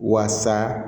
Waasa